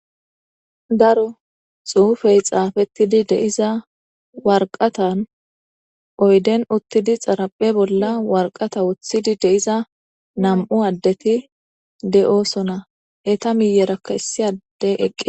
Daro xuufey xaafetidi de'iza warqata oyden uttidi xaraphe bolla warqata woththidi de'iza nam'u addeti de'osona eeta miyyeraka issi addey eqqi